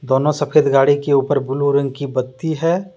दोनों सफ़ेद गाड़ी के ऊपर ब्लू रंग की बत्ती है।